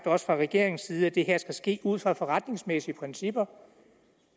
også fra regeringens side sagt at det her skal ske ud fra forretningsmæssige principper